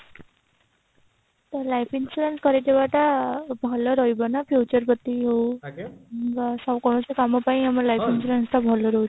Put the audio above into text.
ତ life insurance କରି ଦେବାଟା ଭଲ ରହିବ ନା future ପ୍ରତି କୌଣସି କମ ପାଇଁ ଆମର life insurance ଟା ଭଲ ରହିବ